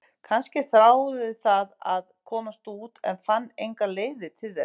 Kannski þráði það að komast út en fann engar leiðir til þess?